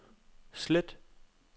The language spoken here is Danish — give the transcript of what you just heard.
slet